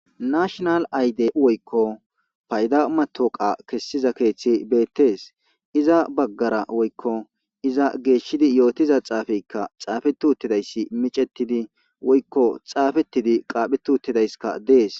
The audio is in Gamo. Naashshinal ayde woykko payda mataweqa kessisiza keeththey beetes. Iza baggara woykko iza geeshshidi yootiza xaafeykka xaafeti uttidays micettidi woykko xaafetidi qaaphetidi uttidayssikka dees.